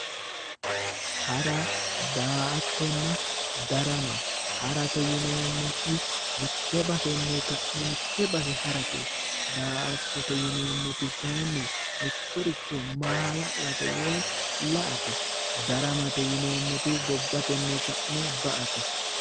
Hara daa'attonna darama, harate yineemmoti mitte basenni ka'ne mitte base harate, daa'ttote yineemmoti kaayiinni mittoricho maala'late woyi la'ate. daramate yineemmoti gobatenni ka'ne ba'ate.